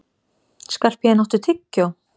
Skarphéðinn, áttu tyggjó?